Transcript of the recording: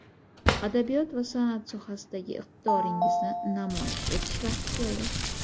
adabiyot va sanʼat sohasidagi iqtidoringizni namoyish etish vaqti keldi.